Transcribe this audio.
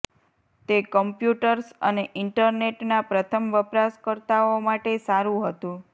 તે કમ્પ્યુટર્સ અને ઇન્ટરનેટના પ્રથમ વપરાશકર્તાઓ માટે સારું હતું